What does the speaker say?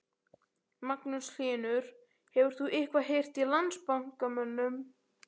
Magnús Hlynur: Hefur þú eitthvað heyrt í Landsbankamönnum?